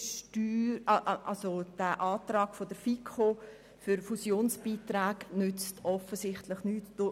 Aber der Antrag der FiKo für Fusionsbeiträge nützt offensichtlich nichts.